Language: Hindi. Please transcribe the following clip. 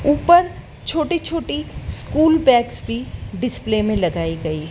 ऊपर छोटी छोटी स्कूल बैग्स भी डिस्प्ले में लगाई गई--